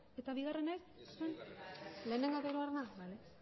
eta bigarrena ez lehena eta hirugarrena lehen